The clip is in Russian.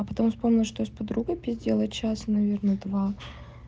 а потом вспомнила что я с подругой пиздела час наверное два